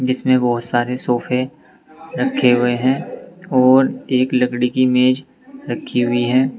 जिसमें बहोत सारे सोफे रखे हुए हैं और एक लकड़ी की मेज रखी हुई है।